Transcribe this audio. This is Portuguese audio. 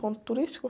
Ponto turístico?